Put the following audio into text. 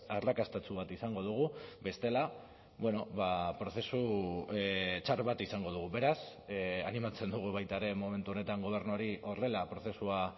arrakastatsu bat izango dugu bestela prozesu txar bat izango dugu beraz animatzen dugu baita ere momentu honetan gobernuari horrela prozesua